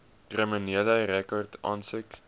kriminele rekord aansoek